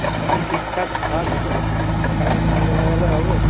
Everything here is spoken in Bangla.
এখন ঠিকঠাক থাক তুই কারণ ঠান্ডা লাগলে হবে